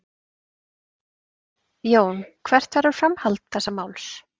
Lára Ómarsdóttir: Jón hvert verður framhald þessa máls?